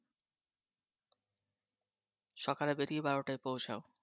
সকালে বেরিয়ে বারোটায় পৌছাও